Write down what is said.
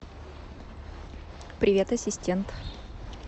привет ассистент